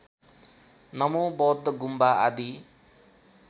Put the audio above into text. नमोबौद्ध गुम्बा आदि